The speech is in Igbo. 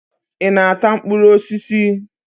Ị na-ata mkpụrụ osisi?